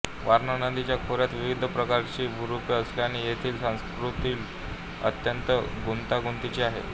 वारणा नदीच्या खोऱ्यात विविध प्रकारची भूरूपे असल्याने येथील स्थलाकृती अत्यंत गुंतागुंतीची आहे